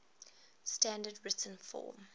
standard written form